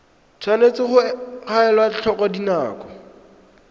tshwanetse ga elwa tlhoko dinako